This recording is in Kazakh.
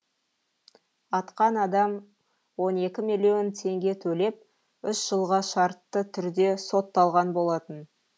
атқан адам он екі миллион теңге төлеп үш жылға шартты түрде сотталған болатын